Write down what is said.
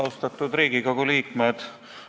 Austatud Riigikogu liikmed!